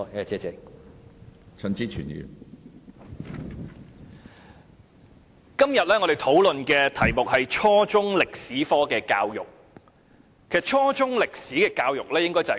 主席，今天我們討論的議題與初中歷史教育有關。